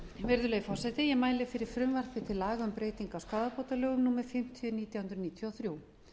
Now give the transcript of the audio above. virðulegi forseti ég mæli fyrir frumvarpi til laga um breyting á skaðabótalögum númer fimmtíu nítján hundruð níutíu og þrjú